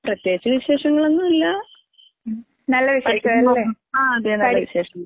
പ്രത്യേകിച്ച് വിശേഷങ്ങളൊന്നും ഇല്ല. പഠിക്കാൻ പോകുന്നു. ആഹ് അതെ അതെ നല്ല വിശേഷം.